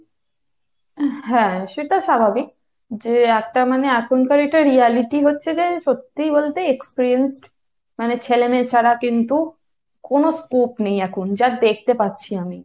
হ্যাঁ, সেটা স্বাভাবিক যে একটা মানে এখনকার এটা reality হচ্ছে যে সত্যি বলতে experienced মানে ছেলেমেয়ে ছাড়া কিন্তু কোন scope নেই এখন। যা দেখতে পাচ্ছি আমি।